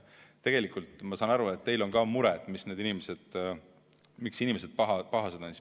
Tegelikult ma saan aru, et teil on ka mure, et miks need inimesed pahased on.